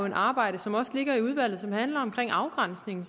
et arbejde i udvalget som handler om afgrænsningen